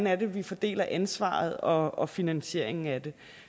er vi fordeler ansvaret og og finansieringen af det